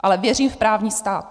Ale věřím v právní stát!